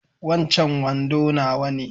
Wancan wando nawa ne